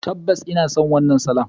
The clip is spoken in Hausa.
Tabbas ina son wannan salon.